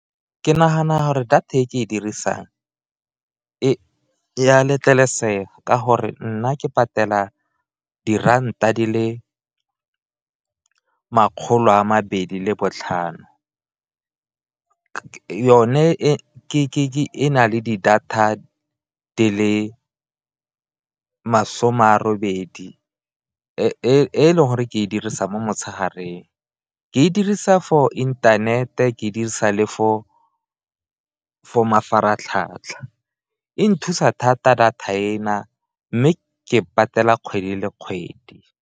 Ke nagana gore data e ke e dirisang ya letlelesega ka gore nna ke patela diranta di le makgolo a mabedi le botlhano, yone e na le di data di le masome a robedi e leng gore ke e dirisang mo motshegareng. Ke dirisa for internet-e ke dirisa le for mafaratlhatlha, e nthusa thata data ena mme ke patela kgwedi le kgwedi.